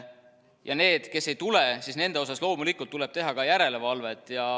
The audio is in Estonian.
Ja need, kes ei tule, siis nende suhtes loomulikult tuleb teha ka järelevalvet.